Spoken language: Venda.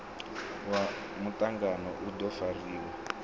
ya mutangano u do fariwa